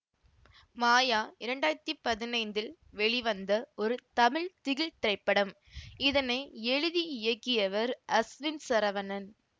மாயா இரண்டு ஆயிரத்தி பதினைந்தில் வெளிவந்த ஒரு தமிழ் திகில் திரைப்படம் இதனை எழுதி இயக்கியவர் அஸ்வின் சரவணன்